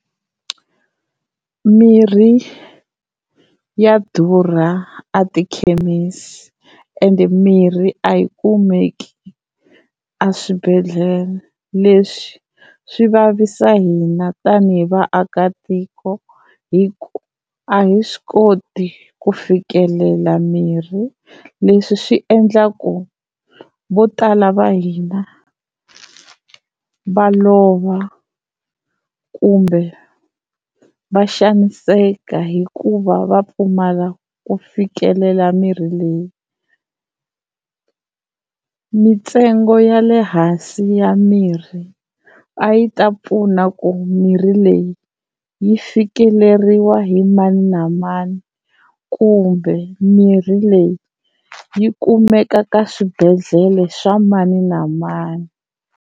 Mirhi ya durha a tikhemisi and mirhi a yi kumeki a swibedhlele, leswi swi vavisa hina tani hi vaakatiko hi ku a hi swi koti ku fikelela mirhi. Leswi swi endla ku vo tala va hina va lova kumbe va xaniseka hikuva va pfumala ku fikelela mirhi leyi. Mintsengo ya le hansi ya mirhi a yi ta pfuna ku mirhi leyi yi fikeleriwa hi mani na mani kumbe mirhi leyi yi kumeka ka swibedhlele swa mani na mani.